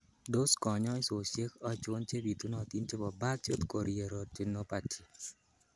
Tos konyoisosiek ochok chebitunotin chebo birdshot chorioretinopathy?